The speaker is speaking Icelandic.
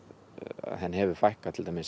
að henni hefur fækkað til dæmis